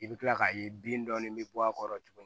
I bɛ kila k'a ye bin dɔɔni bɛ bɔ a kɔrɔ tuguni